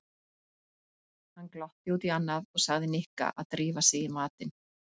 Hann glotti út í annað og sagði Nikka að drífa sig í matinn.